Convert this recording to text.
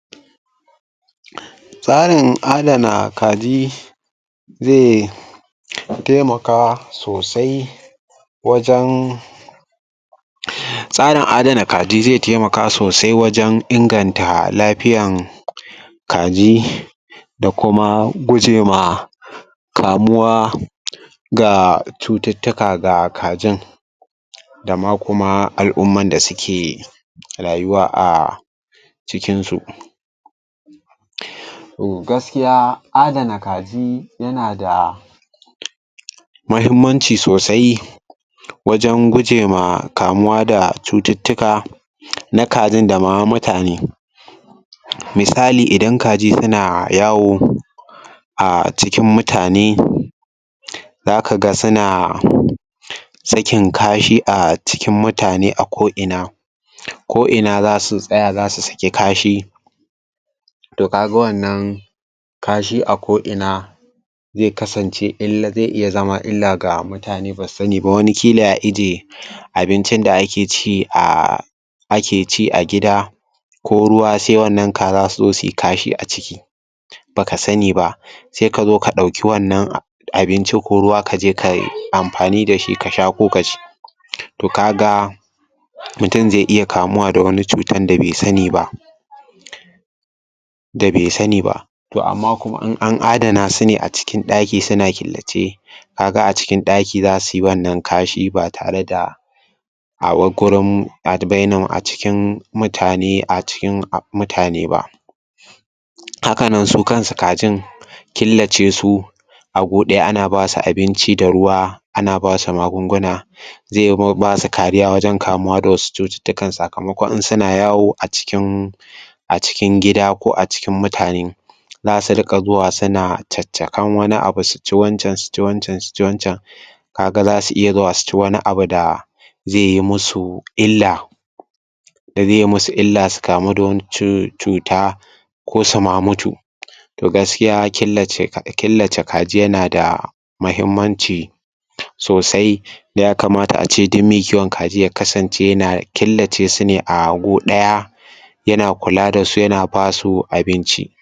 Tsarin adana kaji zai taimaka sosai wajen tsarin adana kaji zai taimaka sosai wajen inganta lafiyan kaji da kuma guje ma kamuwa da cututtuka ga kajin dama kuma al'umman da suke rayuwa a cikinsu. gaskiya adana kaji yana da muhimmanci sosai wajen guje ma kamuwa da cututtuka na kajin da ma mutane misali idan kaji suna yawo a cikin mutane zaka ga suna sakin kashi a cikin mutane a ko'ina ko'ina za su tsaya za su saki kashi to ka ga wannan kashi a ko'ina zai kasncewa zai iya zama illa ga mutane ba su sani ba. Wani ƙila ya ije abincin da ake ci a ake ci a gida ko ruwa sai wannan kaza su zo sui kashi a ciki ba ka sani ba sai ka zo ka ɗauki wannan abinci ko ruwa ka je ka yi amfani da shi to kaga mutum zai iya kamuwa da wani cutan da bai sani ba. Da bai sani ba to amma in an adana su ne a cikin ɗaki suna killace ka ga a cikin ɗaki za sui wannan kashin ba tare da a gurin a bai nar a cikin mutane a cikin mutane ba haka nan su akansu kajn killace su a gu ɗaya ana ba su abinci da ruwa ana ba su magunguna zai ba su kariya wajen kamuwa da wasu cututtukan sakamakon in suna yawo a cikin a cikin gida ko a cikin mutane. za su riƙa zuwa suna caccakar wani abu suci wancan su ci wancan su ci wancan ka ga za su iya zuwa su ci wani abu da zai iya musu illa, da zai musu illa su kamu da wata cuta ko su mutu to gaskiya killace ka killace kaji yana da muhimmanci sosai ya kamata ace duk mai kiwon kaji ya ksance yana killace su ne a gu ɗaya yana kula da su yana ba su abinci.